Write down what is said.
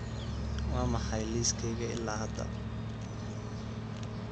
waa maxay liiskayga ilaa hadda